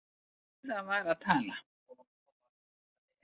Heiða var að tala.